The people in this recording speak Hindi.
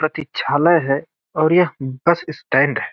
प्रतीक्षालय है और यह बस स्टैंड है।